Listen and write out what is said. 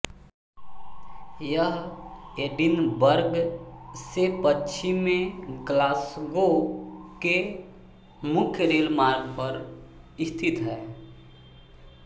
यह एडिनबर्ग से पश्चिम में ग्लासगो के मुख्य रेल मार्ग पर स्थित है